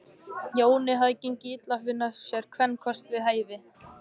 Jóni hafði gengið illa að finna sér kvenkost við hæfi.